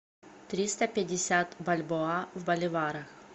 триста пятьдесят бальбоа в боливарах